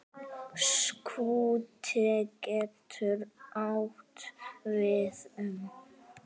Skúti getur átt við um